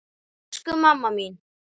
Elsku mamma mín.